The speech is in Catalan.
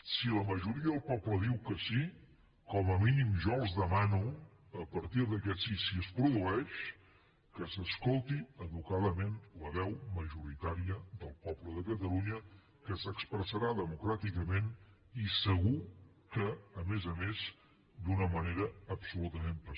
si la majoria del poble diu que sí com a mínim jo els demano a partir d’aquest sí si es produeix que s’escolti educadament la veu majoritària del poble de catalunya que s’expressarà democràticament i segur que a més a més d’una manera absolutament pacífica